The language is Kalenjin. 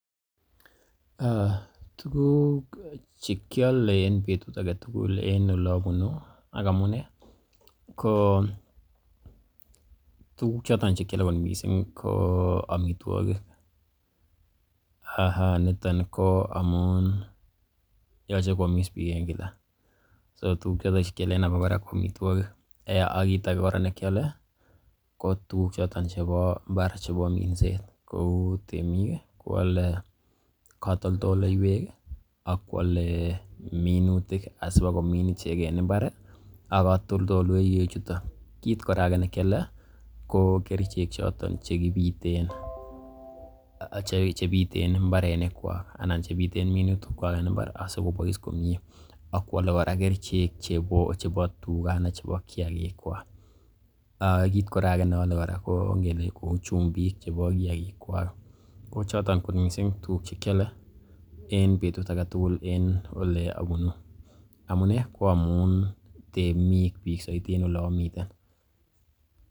Tuguk che kiole en betut age tugul en ole abunu ak amunee ko tuguk choton che kyole kot mising ko amitwogik. Aha! niton ko amun yoche koamis biik en kila so tuguk choton che kiole en abakora ko amitwogik, ak kiit age kora nekiole ko tuguk choton chebo mbar chebo minset kou temik koale katoltoleiywek ak koale minutik asi kobakomin ichek en mbar ak katoltoleiywek chuto. Kit age kora ne kiole ko kerichek choton che piten mbarenikwak, anan chebiten minutikwak en mbar asikobois komie ak koale kora kerichek chebo tuga anan chebo kiyagik kwak. Kiit kora age neole kora ko ngele kou chumbik chebo kiyagik kwak ko choton kot mising tuguk che keole en betut age tugul en ole abunu. Amune ko amun temik biik soiti en ole amiten.